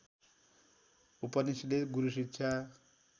उपनिषद्ले गुरु शिक्षा